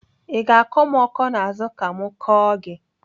I ga-akọ m ọkọ n'azụ ka m kọọ gị?